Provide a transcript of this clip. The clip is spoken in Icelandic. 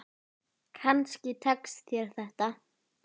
Kannski tekst þér þetta.